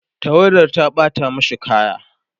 tawadar ta ɓata mashi kaya